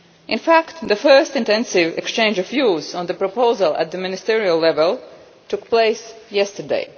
In fact, the first intensive exchange of views on the proposal at ministerial level took place yesterday.